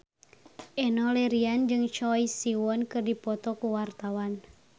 Enno Lerian jeung Choi Siwon keur dipoto ku wartawan